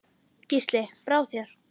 Gísli: Brá þér?